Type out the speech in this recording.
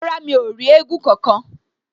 Rárá, mi ò rí éégún kankan